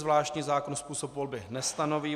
Zvláštní zákon způsob volby nestanoví.